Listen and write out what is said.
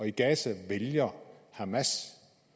i gaza vælger hamas